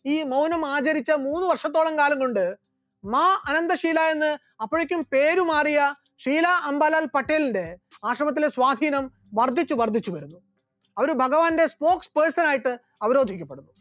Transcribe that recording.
ഈ മൗനം ആചരിച്ച മൂന്ന് വർഷക്കാലം കൊണ്ട് മാ ആനന്ദശിലാ എന്ന് അപ്പോയേക്കും പേര് മാറിയ ശ്രീല അംബലാൽ പട്ടേലിന്റെ ആശ്രമത്തിലെ സ്വാധീനം വർദ്ധിച്ചു വർദ്ധിച്ചു വരുന്നു, അവർ ഭഗവാന്റെ spokes person ആയിട്ട് അവരോധിക്കപെടുന്നു